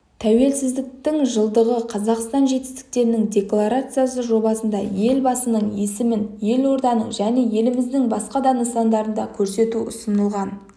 тәуелсіздіктің жылдығы қазақстан жетістіктерінің декларациясы жобасында елбасының есімін елорданың және еліміздің басқа да нысандарында көрсету ұсынылған